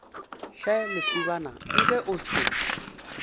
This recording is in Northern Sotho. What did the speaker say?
hle lesibana nke o se